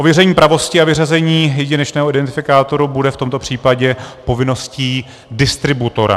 Ověření pravosti a vyřazení jedinečného identifikátoru bude v tomto případě povinností distributora.